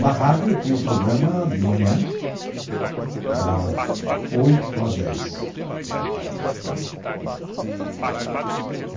Na rádio tinha o programa de manhã, das oito às dez.